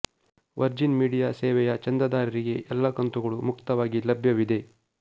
Virgin Media ಸೇವೆಯ ಚಂದಾದಾರರಿಗೆ ಎಲ್ಲ ಕಂತುಗಳೂ ಮುಕ್ತವಾಗಿ ಲಭ್ಯವಿದೆ